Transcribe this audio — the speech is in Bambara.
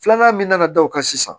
Filanan min nana da o kan sisan